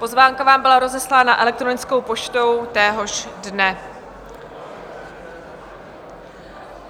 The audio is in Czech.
Pozvánka vám byla rozeslána elektronickou poštou téhož dne.